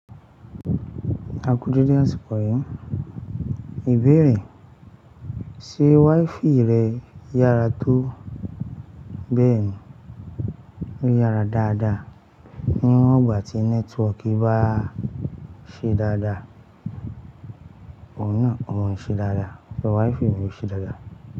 A kú dédé àsìkò yìí. Ìbéèrè, ṣe WiFi rẹ yára tó? Bẹ́ẹ̀ni, ó yára dáadáa. Níwọ̀n ìgbà tí nẹ́tíwọ̀ọ̀kì bá ṣe dáadáa, òun náà o maa n ṣe dáadáa, ṣe WiFi mi ò ṣe dáadáa.